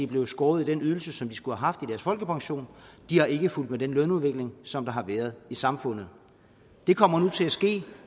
blevet skåret i den ydelse som de skulle have haft i folkepension de har ikke fulgt med den lønudvikling som der har været i samfundet det kommer nu til at ske